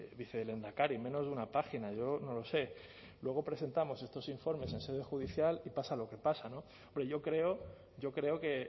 vicelehendakari menos de una página yo no lo sé luego presentamos estos informes en sede judicial y pasa lo que pasa no pero yo creo que